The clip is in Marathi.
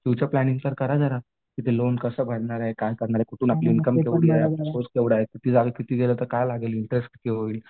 फ्युचर प्लांनिंग तर करा जरा की लोन कसं भरणार आहे काय करणार आहे पुन्हा आपली इन्कम किती झाले किती इंटरेस्ट काय होईल?